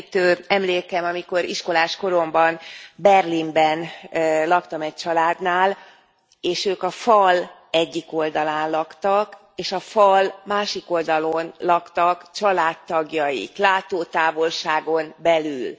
Megrendítő emlékem, amikor iskolás koromban Berlinben laktam egy családnál, és ők a fal egyik oldalán laktak, és a fal másik oldalán laktak családtagjaik, látótávolságon belül.